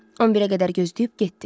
11-ə qədər gözləyib getdi.